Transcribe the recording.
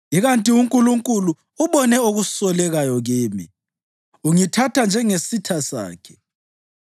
Ikanti uNkulunkulu ubone okusolekayo kimi; ungithatha njengesitha sakhe.